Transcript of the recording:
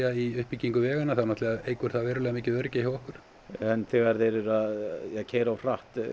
í uppbyggingu vega þá eykur það verulega öryggi hjá okkur en þegar þeir eru að keyra of hratt